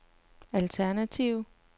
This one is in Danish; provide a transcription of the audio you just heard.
alternativ